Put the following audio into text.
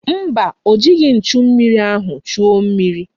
Mba, o jighị nchummiri ahụ chuo mmiri.